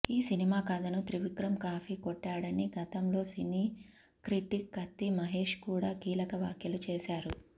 ఈ సినిమా కథను త్రివిక్రమ్ కాపీ కొట్టాడని గతంలో సినీ క్రిటిక్ కత్తి మహేష్ కూడా కీలక వ్యాఖ్యలు చేసారు